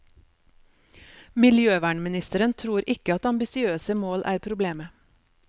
Miljøvernministeren tror ikke at ambisiøse mål er problemet.